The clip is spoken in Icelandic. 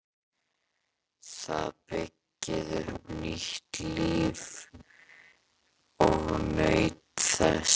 Það byggði upp nýtt líf og naut þess.